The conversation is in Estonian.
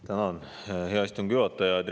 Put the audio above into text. Tänan, hea istungi juhataja!